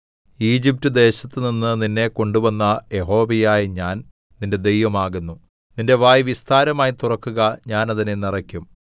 ഈജിപ്റ്റ്ദേശത്തുനിന്ന് നിന്നെ കൊണ്ടുവന്ന യഹോവയായ ഞാൻ നിന്റെ ദൈവം ആകുന്നു നിന്റെ വായ് വിസ്താരമായി തുറക്കുക ഞാൻ അതിനെ നിറയ്ക്കും